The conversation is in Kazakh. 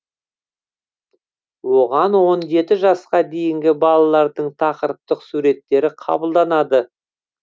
оған он жеті жасқа дейінгі балалардың тақырыптық суреттері қабылданады